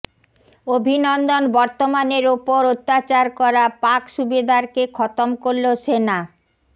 অভিনন্দন বর্তমানের ওপর অত্যাচার করা পাক সুবেদারকে খতম করল সেনা